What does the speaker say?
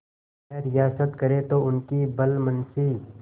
यह रियायत करें तो उनकी भलमनसी